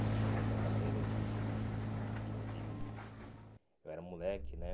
Eu tinha outra maneira de de se... Eu era moleque, né?